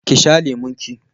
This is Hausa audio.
ki sha lemon ki!